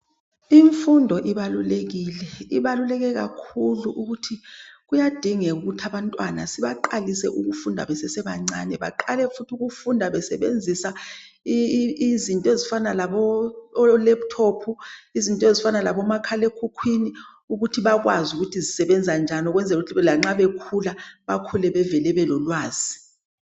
Imfundo ibalulekile. Ibaluleke kakhulu ukuthi kuyadingeka ukuthi abantwana sibaqalise ukufunda besesebancane. Baqale futhi ukufunda besebenzisa izinto ezifana labo laptop, izinto ezifana labomakhalekhukhwini ukuthi bakwazi ukuthi zisebenza njani ukuze lanxa bekhula bakhule bevele belolwazi.